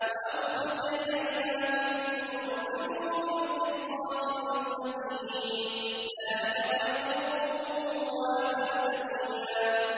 وَأَوْفُوا الْكَيْلَ إِذَا كِلْتُمْ وَزِنُوا بِالْقِسْطَاسِ الْمُسْتَقِيمِ ۚ ذَٰلِكَ خَيْرٌ وَأَحْسَنُ تَأْوِيلًا